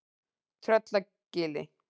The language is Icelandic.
Tröllagili